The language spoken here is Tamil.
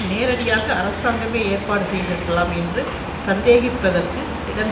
நேரடியாக அரசாங்கமே ஏற்பாடு செய்திருக்கலாம் என்று சந்தேகிப்பதற்கு இடம்